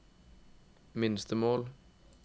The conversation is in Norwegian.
minstemål